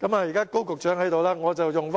現在高局長在席，我用